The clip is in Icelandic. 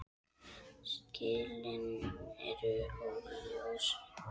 Skilin eru óljós.